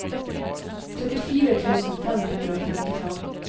trettifire tusen fem hundre og femtifem